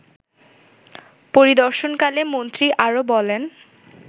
পরিদর্শনকালে মন্ত্রী আরো বলেন